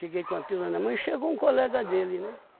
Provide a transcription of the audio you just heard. Fiquei com a pílula na mão e chegou um colega dele, né?